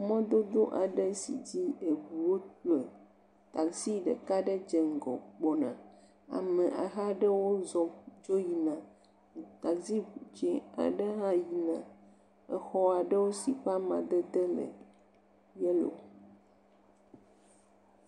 Mɔdodod aɖe si dzi eŋuwo le, tazi ɖeka aɖe dze ŋgɔ gbɔna, ame aha ɖewo dzo yina, tazi dzɛ̃ aɖe hã yina, exɔ aɖewo si ƒe amadede le yellow.